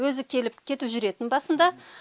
өзі келіп кетіп жүретін басында